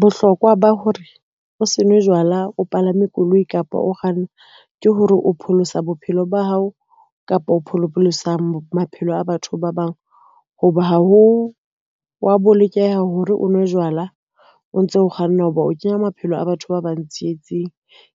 Bohlokwa ba hore o se nwe jwala o palame koloi kapa o kganna ke hore o pholosa bophelo ba hao kapa o pholosa maphelo a batho ba bang. Ho ba ha ho wa bolokeha hore o nwe jwala, o ntso kganna ho ba o kenya maphelo a batho ba bang tsietsing